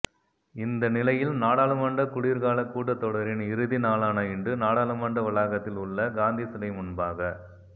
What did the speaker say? இந்தநிலையில் நாடாளுமன்ற குளிர்கால கூட்டத்தொடரின் இறுதி நாளான இன்று நாடாளுமன்ற வளாகத்தில் உள்ள காந்தி சிலை முன்பாக